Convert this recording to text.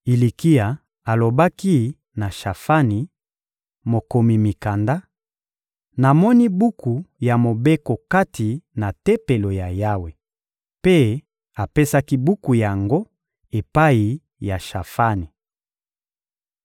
Ilikia alobaki na Shafani, mokomi mikanda: — Namoni buku ya Mobeko kati na Tempelo ya Yawe! Mpe apesaki buku yango epai ya Shafani.